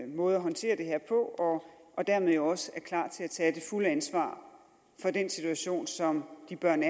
måde at håndtere det her på og dermed jo også er klar til at tage det fulde ansvar for den situation som de børn